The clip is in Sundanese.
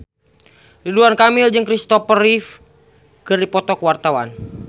Ridwan Kamil jeung Christopher Reeve keur dipoto ku wartawan